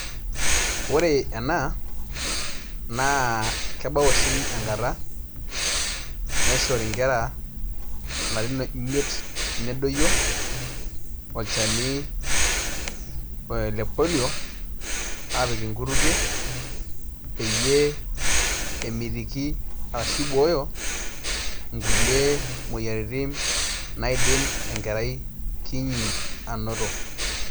Ore ena naa kebau oshi enkata naishori nkera larin imiet nedioyo olchani le polio aapik nkutukie peyie emitiki arashu ibooyo nkuie moyiaritin naidim enkerai kinyi ainoto.